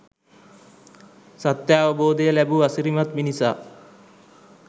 සත්‍යාවබෝධය ලැබූ අසිරිමත් මිනිසා